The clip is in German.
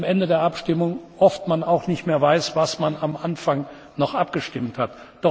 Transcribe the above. am Ende der Abstimmung oft auch nicht mehr weiß, worüber man am Anfang noch abgestimmt hat.